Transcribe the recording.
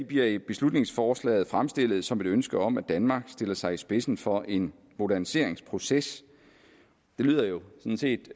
bliver i beslutningsforslaget fremstillet som et ønske om at danmark stiller sig i spidsen for en moderniseringsproces det lyder jo sådan set